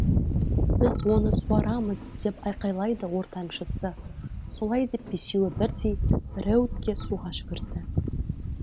біз оны суарамыз деп айқайлайды ортаншысы солай деп бесеуі бірдей рэутке суға жүгірді